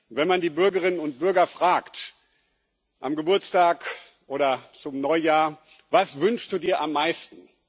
Wenn man die Bürgerinnen und Bürger am Geburtstag oder zum Neujahr fragt Was wünschst du dir am meisten?